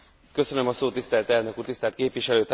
Tisztelt elnök úr, tisztelt képviselőtársaim!